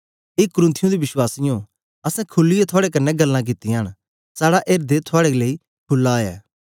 ए कुरिन्थियों दे विश्वासियें असैं खुलीयै थुआड़े कन्ने गल्लां कित्तियां न साड़ा एर्दें थुआड़े लेई खुला ऐ